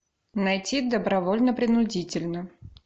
найти добровольно принудительно